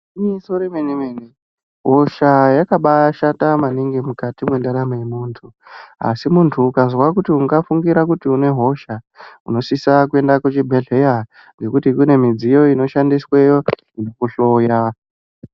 Igwinyiso re mene mene hosha yakabai shata maningi mukati mwe ndaramo ye muntu asi muntu ukazwa kuti unga fungira kuti une hosha unosisa kuenda ku chibhedhleya ngekuti kune midziyo ino shandisweyo inoku hloya.